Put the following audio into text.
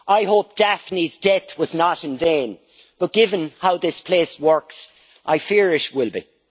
I hope Daphne's death was not in vain, but given how this place works I fear it will be.